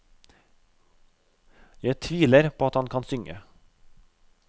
Jeg tviler på at han kan synge.